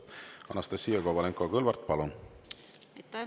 Anastassia Kovalenko-Kõlvart, palun!